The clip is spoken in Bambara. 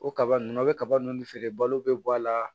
O kaba ninnu a bɛ kaba ninnu feere balo bɛ bɔ a la